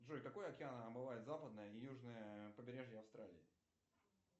джой какой океан омывает западное и южное побережье австралии